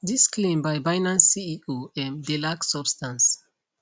dis claim by binance ceo um dey lack substance